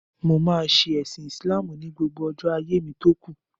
Mo máa ṣe ẹ̀sin Ìsìláàmù ní gbogbo ọjọ́ ayé mi tókù.